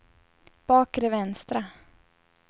bakre vänstra